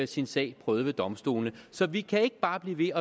sin sag prøvet ved domstolene så vi kan ikke bare blive